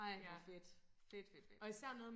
Ej hvor fedt fedt fedt fedt